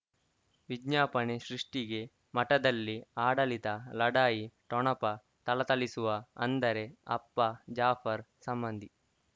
ವಿಜ್ಞಾಪನೆ ಸೃಷ್ಟಿಗೆ ಮಠದಲ್ಲಿ ಆಡಳಿತ ಲಢಾಯಿ ಠೊಣಪ ಥಳಥಳಿಸುವ ಅಂದರೆ ಅಪ್ಪ ಜಾಫರ್ ಸಂಬಂಧಿ